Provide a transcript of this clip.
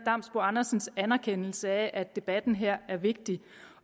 andersens anerkendelse af at debatten her er vigtigt